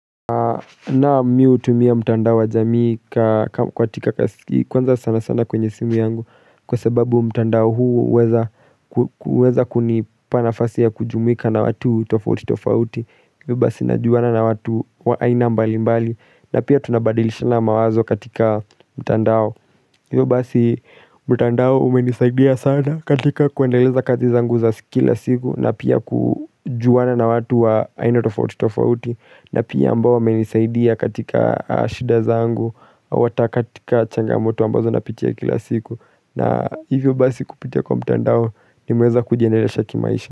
Naam mi hutumia mtandao wa jamii katika kwanza sana sana kwenye simu yangu kwa sababu mtandao huu huweza ku huweza kunipa nafasi ya kujumuika na watu tofauti tofauti hivo basi najuwana na watu wa aina mbali mbali na pia tunabadilishana mawazo katika mtandao Iyo basi mtandao umenisaidia sana katika kuendeleza kazi zangu za kila siku na pia kujuwana na watu wa aina tofauti tofauti na pia ambao wamenisaidia katika shida za angu ata katika changamoto ambazo napitia kila siku na hivyo basi kupitia kwa mtandao nimeweza kujendelesha kimaisha.